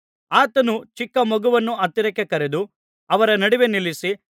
ಆತನು ಚಿಕ್ಕ ಮಗುವನ್ನು ಹತ್ತಿರಕ್ಕೆ ಕರೆದು ಅವರ ನಡುವೆ ನಿಲ್ಲಿಸಿ